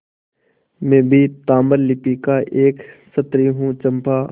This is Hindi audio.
मैं भी ताम्रलिप्ति का एक क्षत्रिय हूँ चंपा